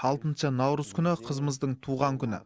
алтыншы наурыз күні қызымыздың туған күні